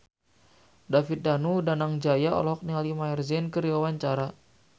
David Danu Danangjaya olohok ningali Maher Zein keur diwawancara